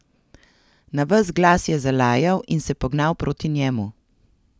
Na ves glas je zalajal in se pognal proti njemu.